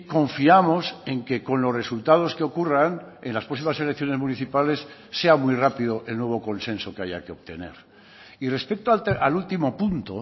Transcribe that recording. confiamos en que con los resultados que ocurran en las próximas elecciones municipales sea muy rápido el nuevo consenso que haya que obtener y respecto al último punto